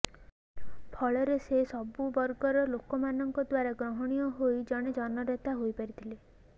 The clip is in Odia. ଫଳରେ ସେ ସବୁବର୍ଗର ଲୋକଙ୍କ ଦ୍ୱାରା ଗ୍ରହଣୀୟ ହୋଇ ଜଣେ ଜନନେତା ହୋଇପାରିଥିଲେ